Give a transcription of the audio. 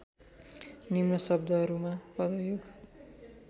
निम्न शब्दहरूमा पदयोग